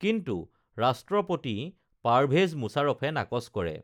কিন্তু ৰাষ্ট্ৰপতি পাৰ‌ভেজ মুছাৰফে নাকচ কৰে